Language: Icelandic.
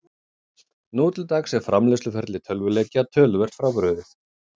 Nú til dags er framleiðsluferli tölvuleikja töluvert frábrugðið.